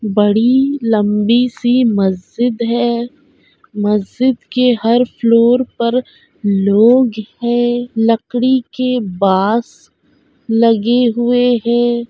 बड़ी लम्बी-सी मस्जिद है मस्जिद के हर फ्लोर पर लोग हैं लकड़ी के बास लगे हुए है।